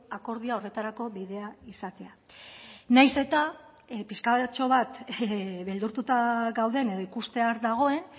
akordioa horretarako bidea izatea nahiz eta pixkatxo bat beldurtuta gauden edo ikustear dagoen